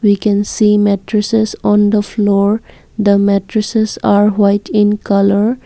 we can see mattresses on the floor the mattresses are white in colour.